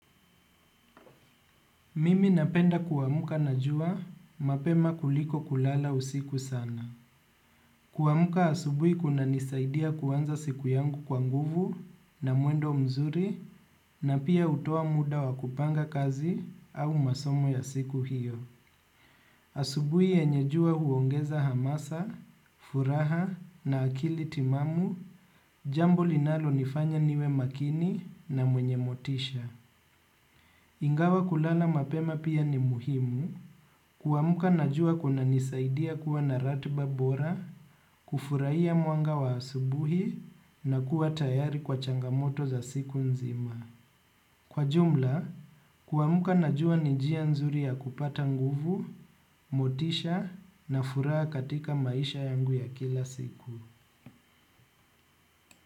Mimi napenda kuamuka na jua mapema kuliko kulala usiku sana. Kuamuka asubuhi kunanisaidia kuanza siku yangu kwa nguvu na mwendo mzuri na pia hutoa muda wa kupanga kazi au masomo ya siku hiyo. Asubuhi yenye jua huongeza hamasa, furaha na akili timamu, jambo linalo nifanya niwe makini na mwenye motisha. Ingawa kulala mapema pia ni muhimu kuamuka najua kunanisaidia kuwa na ratba bora, kufurahia mwanga wa asubuhi na kuwa tayari kwa changamoto za siku nzima. Kwa jumla, kuamka na jua ni njia nzuri ya kupata nguvu, motisha na furaha katika maisha yangu ya kila siku.